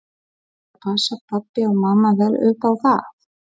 Haukur: Og passa pabbi og mamma vel upp á það?